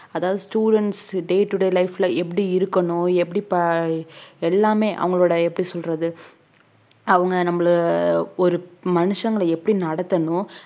அதாவது students day today life ல எப்படி இருக்கணும் எப்படி ப~ எல்லாமே அவங்களோட எப்படி சொல்றது அவங்க நம்மள ஒரு மனுஷங்களை எப்படி நடத்தணும்